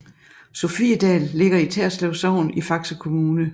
Sofiedal ligger i Terslev Sogn i Faxe Kommune